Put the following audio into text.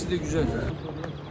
Memarisi də gözəl.